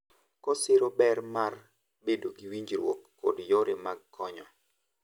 Kosiro ber mar bedo gi winjruok kod yore mag konyo.